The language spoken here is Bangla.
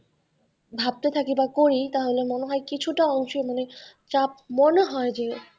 ভাবতে থাকি বা করি তাহলে মনে হয় কিছুটা অংশে মনে চাপ মনে হয় যে,